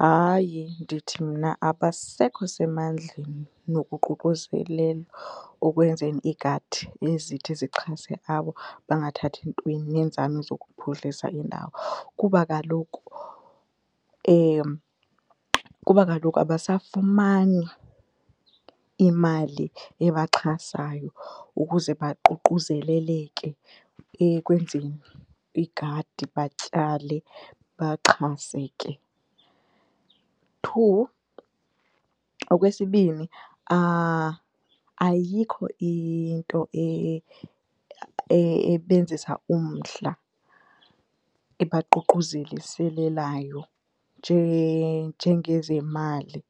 Hayi, ndithi mna abasekho semandleni nokuququzelela okwenzeni iigadi ezithi zixhase abo bangathathi ntweni neenzame zokuphuhlisa iindawo. Kuba kaloku , kuba kaloku abasafumani imali ebaxhasayo ukuze baququzeleleke ekwenzeni igadi batyale baxhase ke. Two, okwesibini, ayikho into ebenzisa umdla, ebaququzeliselelayo njengezemali,